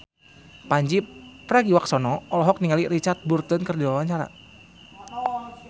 Pandji Pragiwaksono olohok ningali Richard Burton keur diwawancara